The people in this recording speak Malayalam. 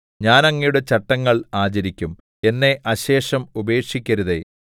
ഞാൻ അങ്ങയുടെ ചട്ടങ്ങൾ ആചരിക്കും എന്നെ അശേഷം ഉപേക്ഷിക്കരുതേ ബേത്ത്